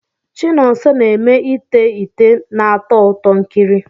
Chinonso na-eme ite ite na-atọ ụtọ ikiri.